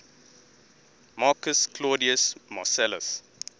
marcus claudius marcellus